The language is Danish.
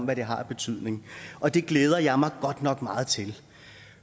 hvad det har af betydning og det glæder jeg mig godt nok meget til